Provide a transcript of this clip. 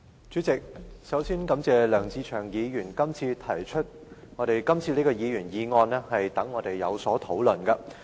主席，首先，我感謝梁志祥議員今天提出這項議員議案，讓我們有機會進行討論。